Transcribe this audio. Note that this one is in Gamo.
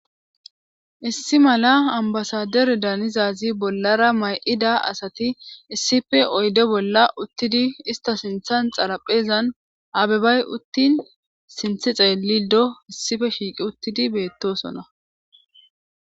Issi mala ambasadere daanizazi bollara may'ida asati issife oyde bolla uttidi ista sinthan xaraphezan abebay uttin sinthe xeelido issife shiiqi uttidi beettosona.